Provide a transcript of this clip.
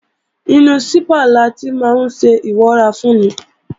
Inú sípà láti máa ńṣe ìwọ́rafúnni